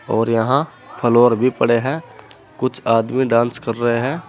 और यहाँ फ्लोर भी पड़े हैं कुछ आदमी डांस कर रहे हैं।